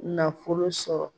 Nafolo sɔrɔ